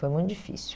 Foi muito difícil.